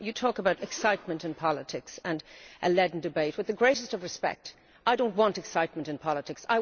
You talk about excitement in politics and a leaden debate, but with the greatest of respect, I do not want excitement in politics